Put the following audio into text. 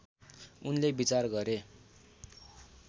उनले विचार गरे